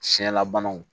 Siɲɛlabanaw